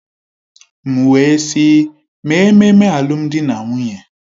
M wee sị, mee ememme alụmdi na nwunye!